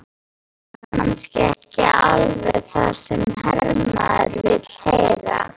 Kannski ekki alveg það sem hermaður vill heyra.